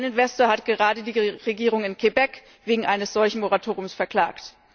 Ein Investor hat gerade die Regierung in Quebec wegen eines solchen Moratoriums verklagt.